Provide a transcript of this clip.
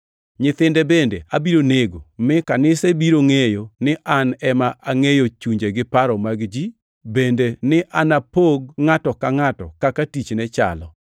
Nyithinde bende abiro nego, mi kanise biro ngʼeyo ni An ema angʼeyo chunje gi paro mag ji bende ni anapog ngʼato ka ngʼato kaka tichne chalo.